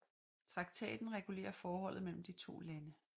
Traktaten regulerer forholdet mellem de to lande